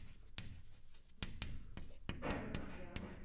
சொல்லுங்க ஆஃபியா.